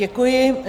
Děkuji.